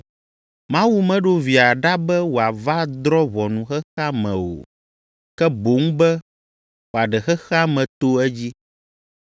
Mawu meɖo Via ɖa be wòava drɔ̃ ʋɔnu xexea me o, ke boŋ be wòaɖe xexea me to edzi.